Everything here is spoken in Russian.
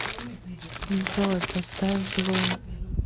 джой поставь блум